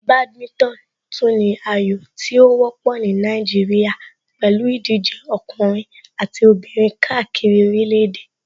Badminton tún ní ayò tí ó wọ́pọ̀ ní Nàìjíríà pẹ̀lú ìdíje ọkùnrin àti obìnrin káàkiri orílẹ̀ èdè.